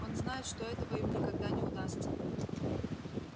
он знает что этого ему никогда не удастся